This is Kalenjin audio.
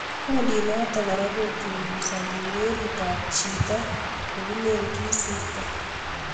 Kundit notok kora ko chunguzani kirerit ab chichot kilen kisirto.